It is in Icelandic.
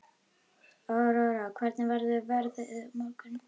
Aurora, hvernig verður veðrið á morgun?